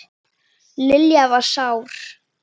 Lilla var sár.